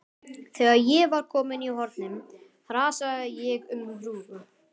Þegar ég var komin í hornið hrasaði ég um hrúgu.